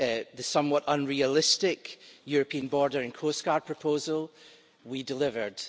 The somewhat unrealistic European border and coastguard proposal we delivered.